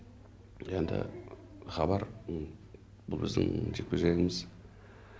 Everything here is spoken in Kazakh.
енді хабар бұл біздің жекпе жегіміз